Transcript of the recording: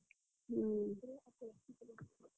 ହୁଁ।